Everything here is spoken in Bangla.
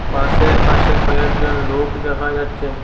বাসের পাশে কয়েকজন লোক দেখা যাচ্ছে।